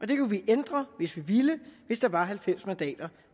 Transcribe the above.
det kunne vi ændre hvis vi ville hvis der var halvfems mandater